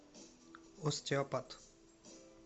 остеопат